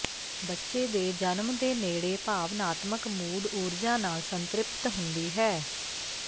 ਬੱਚੇ ਦੇ ਜਨਮ ਦੇ ਨੇੜੇ ਭਾਵਨਾਤਮਕ ਮੂਡ ਊਰਜਾ ਨਾਲ ਸੰਤ੍ਰਿਪਤ ਹੁੰਦੀ ਹੈ